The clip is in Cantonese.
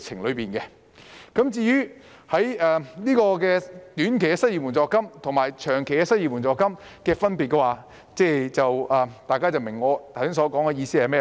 至於短期失業援助金及長期失業援助金的分別，大家也應該明白我剛才所說的意思。